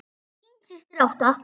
Þín systir, Ásta.